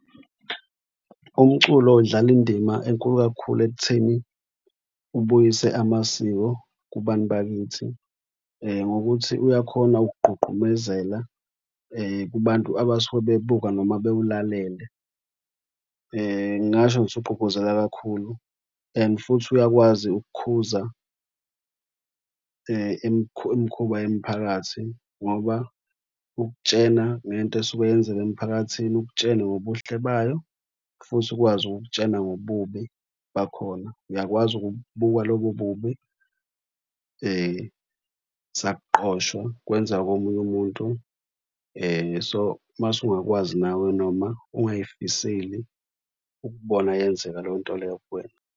Umculo udlala indima enkulu kakhulu ekutheni ubuyise amasiko kubantu bakithi ngokuthi uyakhona ukugqugqumezela kubantu abasuke bebuka noma bewulalele. Ngingasho ngithi ugqugquzela kakhulu and futhi uyakwazi ukukukhuza imikhuba yemphakathi ngoba ukutshena ngento esuke yenzeka emphakathini ukutshene ngobuhle bayo futhi ukwazi ukukutshena ngobubi bakhona. Uyakwazi ukubukwa lobo ububi sakuqoshwa, kwenzeka komunye umuntu. So, mase ungakwazi nawe noma ungayifiseli ukubona yenzeka leyo nto leyo kuwena.